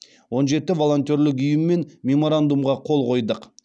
он жеті волонтерлік ұйыммен меморандумға қол қойдық